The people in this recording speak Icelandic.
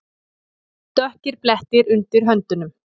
Dökkir blettir undir höndunum.